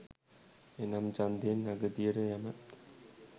එනම් ඡන්දයෙන් අගතියට යැමත්